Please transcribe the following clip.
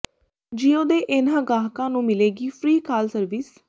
JIO ਦੇ ਇਨ੍ਹਾਂ ਗਾਹਕਾਂ ਨੂੰ ਮਿਲੇਗੀ ਫਰੀ ਕਾਲ ਸਰਵਿਸ